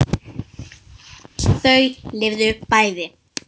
Þau lifðu bæði.